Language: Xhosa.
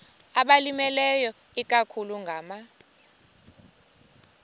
abalimileyo ikakhulu ngama